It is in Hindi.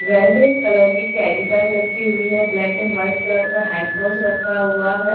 रेड कलर की कैरी बैग रखी हुई है ब्लैक एंड वाइट कलर का हैंड कॉस रखा हुआ है।